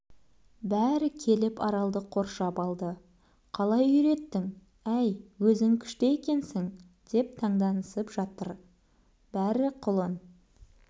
бәрі келіп аралды қоршап алды қалай үйреттің әй өзің күшті екенсің деп танданысып жатыр бәрі құлын